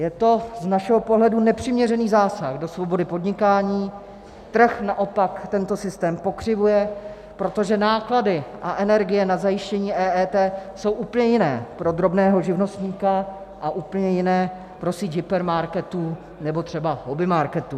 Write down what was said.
Je to z našeho pohledu nepřiměřený zásah do svobody podnikání, trh naopak tento systém pokřivuje, protože náklady a energie na zajištění EET jsou úplně jiné pro drobného živnostníka a úplně jiné pro síť hypermarketů nebo třeba hobbymarketů.